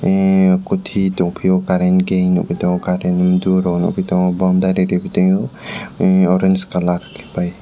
ahhh kuti tongpio current ke nugi tongo current durok nugi togo boundari repitio orange colour by.